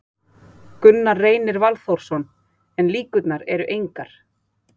Gunnar Reynir Valþórsson: En líkurnar eru engar?